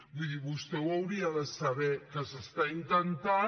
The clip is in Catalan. vull dir vostè ho hauria de saber que s’està intentant